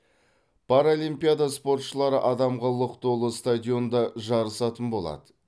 паралимпиада спортшылары адамға лық толы стадионда жарысатын болады